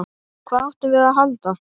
Hvað áttum við að halda?